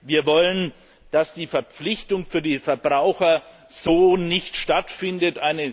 Wir wollen, dass die Verpflichtung für die Verbraucher so nicht stattfindet.